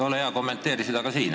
Ole hea ja kommenteeri seda ka siin.